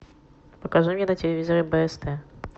покажи мне на телевизоре бст